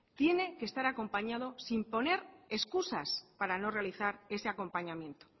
tiene que estar acompañado sin poner excusas para no realizar ese acompañamiento